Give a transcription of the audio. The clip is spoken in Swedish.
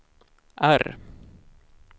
R